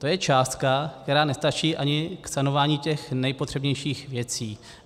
To je částka, která nestačí ani k sanování těch nejpotřebnějších věcí.